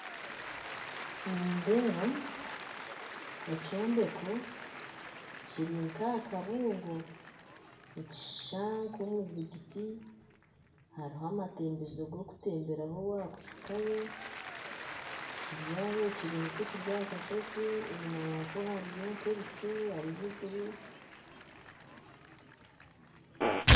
Nindeeba ekyombeko kiri ahakabungo nikishishana nka omuzigyiti, hariho amatembezo gokutemberaho waza kuhikayo, kiri nkahakashozi enyima yaako hariyo nka ebicu